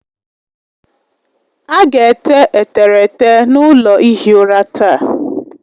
A ga-ete eterete n'ụlọ ihi ụra taa